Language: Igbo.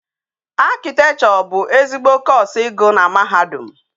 Architecture bu ezigbo course igu na mahadum